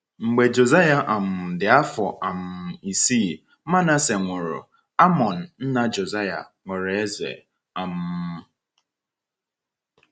Mgbe Josiah um dị afọ um isii, Manasseh nwụrụ, Amon, nna Josiah, ghọrọ eze. um